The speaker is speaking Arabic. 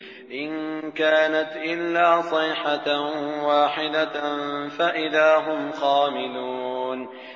إِن كَانَتْ إِلَّا صَيْحَةً وَاحِدَةً فَإِذَا هُمْ خَامِدُونَ